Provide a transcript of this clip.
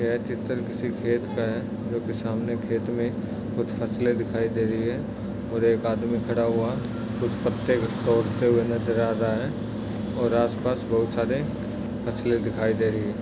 यह चित्र किसी खेत का है जो कि सामने खेत में कुछ फसले दिखाई दे रही है और एक आदमी खड़ा हुआ उसे पत्ते तोड़ते हुए नजर आ रहा है और आसपास बहुत सारे फसले दिखाई दे रही है।